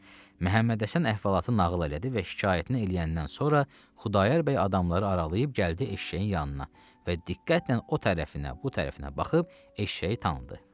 Məhəmmədhəsən əhvalatı nağıl elədi və şikayətini eləyəndən sonra Xudayar bəy adamları aralayıb gəldi eşşəyin yanına və diqqətlə o tərəfinə, bu tərəfinə baxıb eşşəyi tanıdı.